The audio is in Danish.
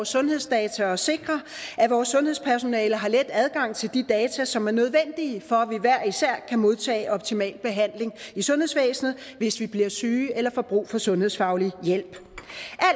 sundhedsdata og sikrer at vores sundhedspersonale har let adgang til de data som er nødvendige for at vi hver især kan modtage optimal behandling i sundhedsvæsenet hvis vi bliver syge eller får brug for sundhedsfaglig hjælp